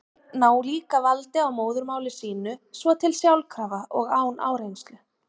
Börn ná líka valdi á móðurmáli sínu svo til sjálfkrafa og án áreynslu.